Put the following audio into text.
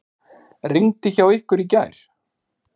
Rigndi hjá ykkur í gær?